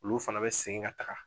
Olu fana be segin ka taga